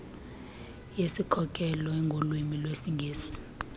yesikhokelo engolwimi lwesingesi